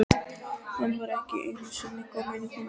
Hann var ekki einusinni kominn í Húnaver.